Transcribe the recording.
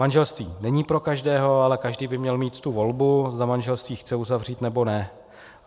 Manželství není pro každého, ale každý by měl mít tu volbu, zda manželství chce uzavřít, nebo ne.